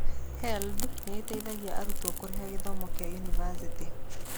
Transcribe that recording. HELB nĩ ĩteithagia arutwo kũrĩha gĩthomo kĩa yunivasĩtĩ.